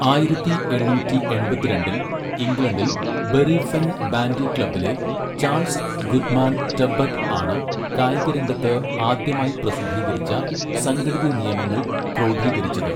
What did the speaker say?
ആയിരത്തി എണ്ണൂറ്റി എൺപത്തിരണ്ടിൽ ഇംഗ്ലണ്ടിൽ, ബറി ഫെൻ ബാൻഡി ക്ലബ്ബിലെ ചാൾസ് ഗുഡ്മാൻ ടെബ്ബട്ട് ആണ് കായികരംഗത്ത് ആദ്യമായി പ്രസിദ്ധീകരിച്ച സംഘടിത നിയമങ്ങൾ ക്രോഡീകരിച്ചത്.